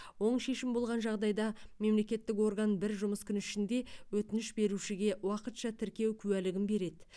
оң шешім болған жағдайда мемлекеттік орган бір жұмыс күні ішінде өтініш берушіге уақытша тіркеу куәлігін береді